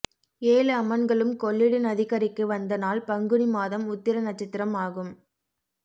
ஏழு அம்மன்களும் கொள்ளிட நதிக்கரைக்கு வந்த நாள் பங்குனி மாதம் உத்திர நட்சத்திரம் ஆகும்